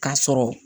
K'a sɔrɔ